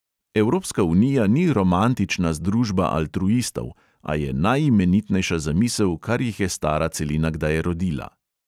Evropska unija ni romantična združba altruistov, a je najimenitnejša zamisel, kar jih je stara celina kdaj rodila.